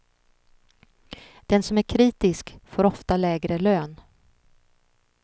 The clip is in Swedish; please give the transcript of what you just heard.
Den som är kritisk får ofta lägre lön.